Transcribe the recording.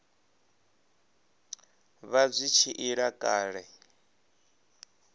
vha zwi tshi ila kale